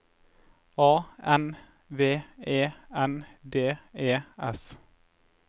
A N V E N D E S